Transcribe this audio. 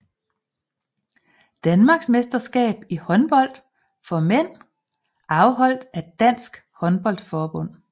Danmarksmesterskab i håndbold for mænd afholdt af Dansk Håndbold Forbund